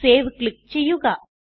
save click ചെയ്യുക